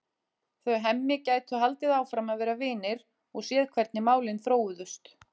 Þau Hemmi gætu haldið áfram að vera vinir og séð hvernig málin þróuðust.